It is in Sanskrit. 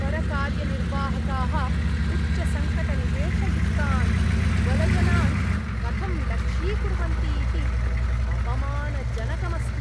परकार्यनिर्वाहकाः उच्चसङ्कटनिवेशयुक्तान् दुर्बलजनान् कथं लक्ष्यीकुर्वन्ति इति अपमानजनकम् अस्ति।